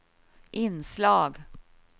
inslag